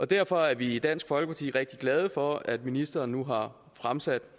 derfor er vi i dansk folkeparti rigtig glade for at ministeren nu har fremsat